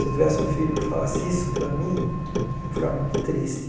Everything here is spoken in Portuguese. Se eu tivesse um filho que falasse isso para mim, eu ficava muito triste.